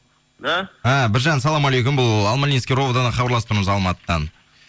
да і біржан ассаламалейкум бұл алмалинский ровд дан хабарласып тұрмыз алматыдан